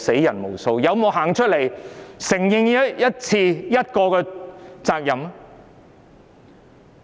他們有沒有任何一次承認責任？